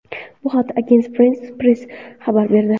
Bu haqda Agence France-Presse xabar berdi.